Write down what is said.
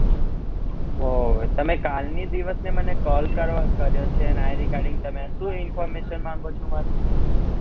અ તમે કાલ ની દિવસ ની call કરવા કર્યો છે શું information માંગો છો મારી?